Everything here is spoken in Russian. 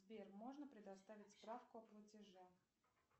сбер можно предоставить справку о платеже